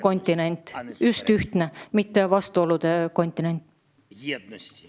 Euroopa peab olema just ühtsuse, mitte lahkarvamuste kontinent.